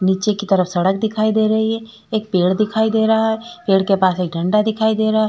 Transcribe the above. नीचे की तरफ सड़क दिखाई दे रही है। एक पेड़ दिखाई दे रहा है। पेड़ के पास एक झंडा दिखाई दे रहा है।